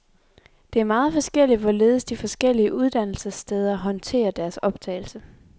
Det er meget forskelligt hvorledes de forskellige uddannelsessteder håndterer deres optagelse.